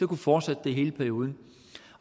kunne fortsætte det i hele perioden